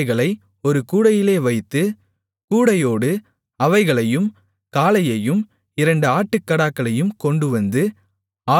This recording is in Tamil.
அவைகளை ஒரு கூடையிலே வைத்து கூடையோடு அவைகளையும் காளையையும் இரண்டு ஆட்டுக்கடாக்களையும் கொண்டுவந்து